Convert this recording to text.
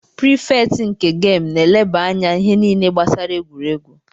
Prifekt nke gamu na-elebanye anya ihe niile gbasara egwuregwu